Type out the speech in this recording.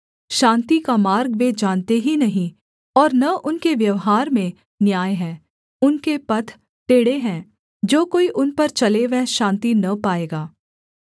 शान्ति का मार्ग वे जानते ही नहीं और न उनके व्यवहार में न्याय है उनके पथ टेढ़े हैं जो कोई उन पर चले वह शान्ति न पाएगा